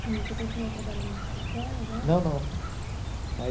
E você continua trabalhando na Coca-Cola agora? Não, não a